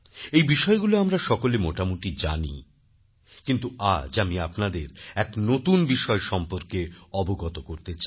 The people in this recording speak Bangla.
এই বিষয়গুলো আমরা সকলে মোটামুটি জানি কিন্তু আজ আমি আপনাদের এক নতুন বিষয় সম্পর্কে অবগত করতে চাই